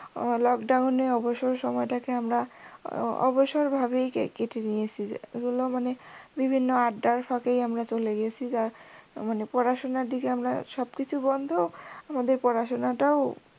lockdown এ অবসর সময়টাকে আমরা অবসর ভাবেই কেটে নিয়েসি, এগুলো মানে বিভিন্ন আড্ডার ফাঁকেই আমরা চলে গিয়েসি, পড়াশোনার দিকে আমরা সবকিছু বন্ধ, আমাদের পড়াশোনা টাও